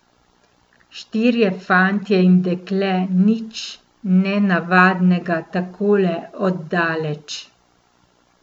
Štirje fantje in dekle, nič nenavadnega takole od daleč.